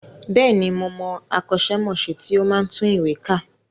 Bẹ́ẹ̀ni, mo mọ akọ́ṣẹ́mọṣẹ́ tí ó máa ń tún ìwé kà